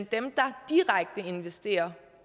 dem der direkte investerer